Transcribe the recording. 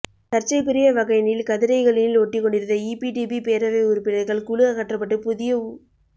சர்ச்சைக்குரிய வகையினில் கதிரைகளினில் ஒட்டிக்கொண்டிருந்த ஈபிடிபி பேரவை உறுப்பினர்கள் குழு அகற்றப்பட்டு புதிய உ